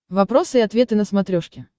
вопросы и ответы на смотрешке